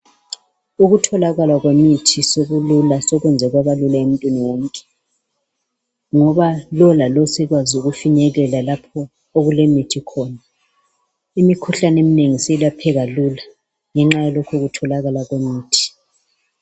Ukutholakala kwemithi sokulula, sokwenze kwaba lula emuntwini wonke. Ngoba lo lalo sekwaz' ukufinyelela lapho okulemithi khona. Imikhuhlan' eminengi siyelapheka lula ngenxa yalokhu kutholakala kwemithi.